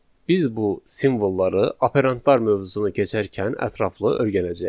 Biz bu simvolları operantlar mövzusunu keçərkən ətraflı öyrənəcəyik.